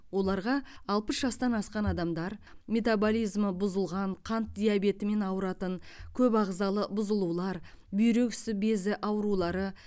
оларға алпыс жастан асқан адамдар метаболизмі бұзылған қант диабетімен ауыратын көп ағзалы бұзылулар бүйрек үсті безі аурулары